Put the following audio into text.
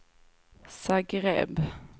Zagreb